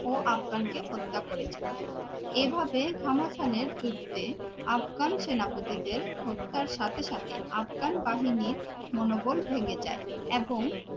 ও আফগানকে হত্যা করেছিলেন। এভাবে ঘামাসানের যুদ্ধে আফগান সেনাপতিদের হত্যার সাথে সাথে আফগান বাহিনীর মনোবল ভেঙে যায় এবং